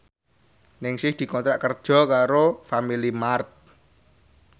Ningsih dikontrak kerja karo Family Mart